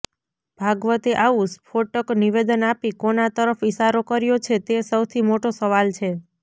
ભાગવતે આવું સ્ફોટક નિવેદન આપી કોના તરફ ઈશારો કર્યો છે તે સૌથી મોટો સવાલ છે